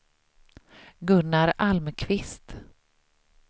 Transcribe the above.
Gunnar Almqvist